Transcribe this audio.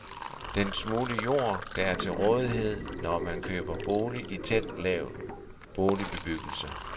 Den smule jord, der er til rådighed, når man køber bolig i tæt lav boligbebyggelse.